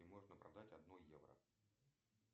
можно продать одно евро